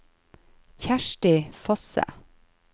Kjersti Fosse